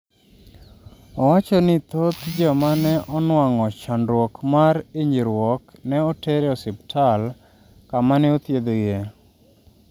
owacho ni thoth joma ne onuang'o chandruok mar hinyruok ne oter e osiptal kama ne othiedhgie